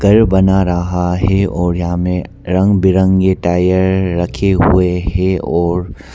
घर बना रहा है और यहां में रंग बिरंगे टायर रखे हुए हैं और।